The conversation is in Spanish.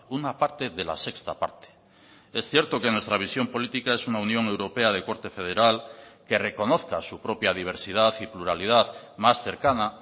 una parte de la sexta parte es cierto que nuestra visión política es una unión europea de corte federal que reconozca su propia diversidad y pluralidad más cercana